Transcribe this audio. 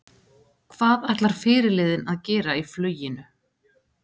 Hvað ætlar fyrirliðinn að gera í fluginu?